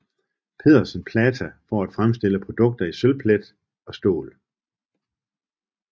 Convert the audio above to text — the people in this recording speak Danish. Pedersen PLATA for at fremstille produkter i sølvplet og stål